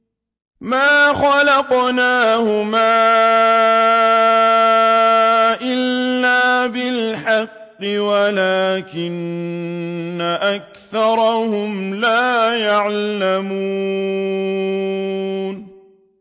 مَا خَلَقْنَاهُمَا إِلَّا بِالْحَقِّ وَلَٰكِنَّ أَكْثَرَهُمْ لَا يَعْلَمُونَ